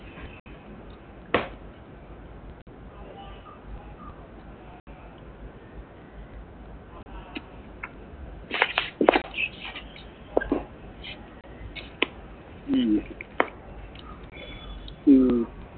ഉം ഉം